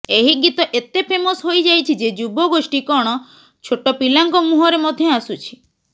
ଏହି ଗୀତ ଏତେ ଫେମସ ହୋଇଯାଇଛି ଯେ ଯୁବଗୋଷ୍ଠି କଣ ଛୋଟ ପିଲାଙ୍କ ମୁହଁରେ ମଧ୍ୟ ଆସୁଛି